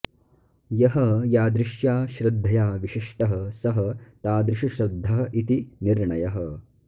यः यादृश्या श्रद्धया विशिष्टः सः तादृशश्रद्धः इति निर्णयः